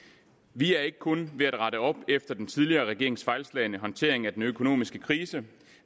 vi er ikke kun ved at rette op efter den tidligere regerings fejlslagne håndtering af den økonomiske krise